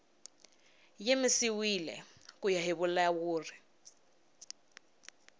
yimisiwile ku ya hi vulawuri